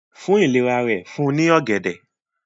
fún ìlera rẹ̀ fún ní ògèdè